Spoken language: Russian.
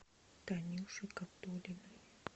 танюши габдуллиной